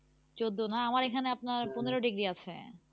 চোদ্দ না? আমাদের এখানে আপনার হ্যাঁ পনেরো degree আছে।